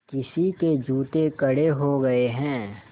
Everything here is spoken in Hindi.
किसी के जूते कड़े हो गए हैं